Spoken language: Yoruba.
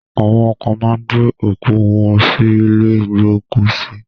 Awọn kan máa ń gbé òkú wọ́n sí ilé ìgbókùsí.